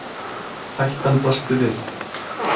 Hættan blasti við